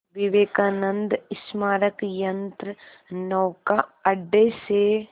विवेकानंद स्मारक यंत्रनौका अड्डे से